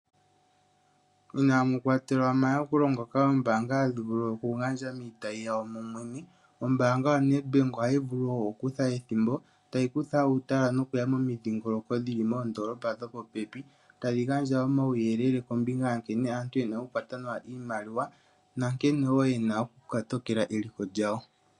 Inaamu kwatelwa omayakulo ngoka oombaanga hadhi vulu okugandja miitayi yawo momwene, ombaanga yaNEdbank ohayi vulu okukutha ethimbo tayi kutha uutala nokuya momidhingoloko dhi li moondoolopa dhopopepi tadhi gandja omauyelele kombinga yankene aantu ye na okukwata iimaliwa nankene wo ye na okukotokela eliko lyawo.